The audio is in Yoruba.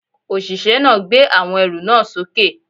Òṣìṣẹ́ náà gbé àwọn ẹrù náà sókè